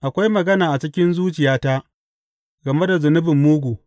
Akwai magana a cikin zuciyata game da zunubin mugu.